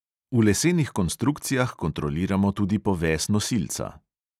V lesenih konstrukcijah kontroliramo tudi poves nosilca.